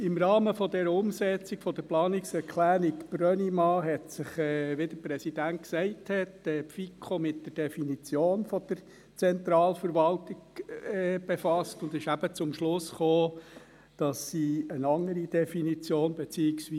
Im Rahmen der Umsetzung der Planungserklärung Brönnimann hat sich die FiKo, wie deren Präsident gesagt hat, mit der Definition der Zentralverwaltung befasst und ist eben